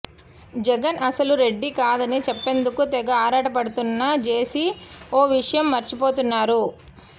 జగన్ అసలు రెడ్డి కాదని చెప్పేందుకు తెగ ఆరాటపడుతున్న జేసీ ఓ విషయం మర్చిపోతున్నారు